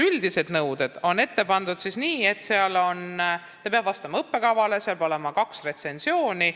Üldised ettepandud nõuded on sellised, et õpik peab vastama õppekavale, sellele peab olema võetud kaks retsensiooni.